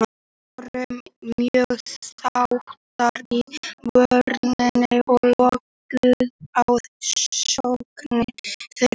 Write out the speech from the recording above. Við vorum mjög þéttar í vörninni og lokuðum á sóknir þeirra.